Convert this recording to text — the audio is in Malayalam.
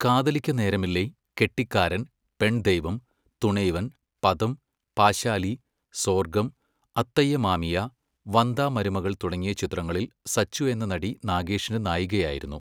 കാതലിക്ക നേരമില്ലൈ, കെട്ടിക്കാരൻ, പെൺദൈവം, തുണൈ വൻ, പതം പാശാലി, സോർഗം, അത്തയ്യ മാമിയ, വന്ദാ മരുമഗൾ തുടങ്ങിയ ചിത്രങ്ങളിൽ സച്ചു എന്ന നടി നാഗേഷിൻ്റെ നായികയായിരുന്നു